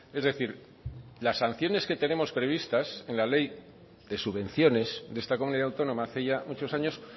es decir las sanciones que tenemos previstas en la ley de subvenciones de esta comunidad autónoma hace ya muchos años